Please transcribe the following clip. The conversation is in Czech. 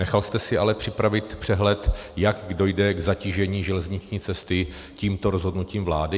Nechal jste si ale připravit přehled, jak dojde k zatížení železniční cesty tímto rozhodnutím vlády?